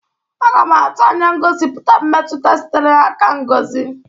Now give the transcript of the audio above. Aga m atụ anya ngosipụta mmetụta sitere n'aka Ngozi.